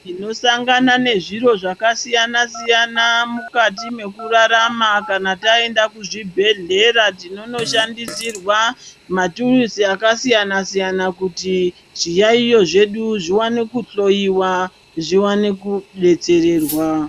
Tinosangana nezviro zvakasiyana-siyana mukati mekurarama kana taenda kuzvibhedhleya tinonnoshandisirwa maturuzi aksiyana-siyana kuti zviyayiyo zvedu zvione kuhloiwa zviwane kudetserwa.